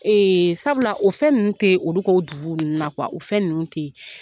sabula o fɛn ninnu tɛ ye olu ka u dugu ninnu na o fɛn ninnu tɛ ye.